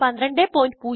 1204